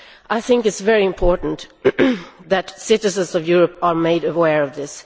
I think it is very important that citizens of Europe are made aware of this.